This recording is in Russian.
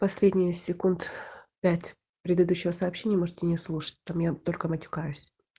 последние секунд пять предыдущего сообщения можете не слушать там я только матюкаюсь